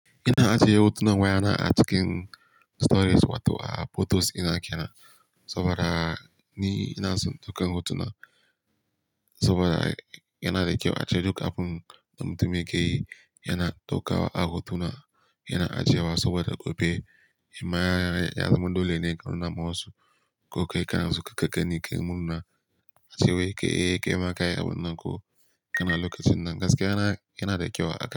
Ina ajiye hotunan wayana a cikin storage wato a photos dina ke nan saboda ni ina son dukkan hotunan saboda yana da kyau a ce duk abun da mutum yake yi yana ɗaukawa a hotuna. Yana ajiye wa saboda gobe in ma ya zamu dole ne, ka nuna ma wasu ko kai kana su ka gani, kai murna ace wai kai, kai ma ka yi abun nan ko kana lokacin nan. Gaskiya yana, yana da kyau a haka.